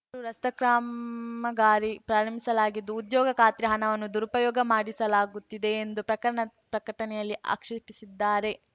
ರೂ ರಸ್ತೆ ಕ್ರಾಂಮಗಾರಿ ಪ್ರಾರಂಭಿಸಲಾಗಿದ್ದು ಉದ್ಯೋಗ ಖಾತ್ರಿಯ ಹಣವನ್ನು ದುರುಪಯೋಗ ಪಡಿಸಲಾಗುತ್ತಿದೆ ಎಂದು ಪ್ರಕಣ ಪ್ರಕಟಣೆಯಲ್ಲಿ ಆಕ್ಷೇಪಿಸಿದ್ದಾರೆ